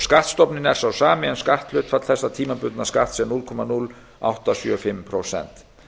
skattstofninn er sá sami en skatthlutfall þessa tímabundna skatts er núll komma núll átta sjö fimm prósent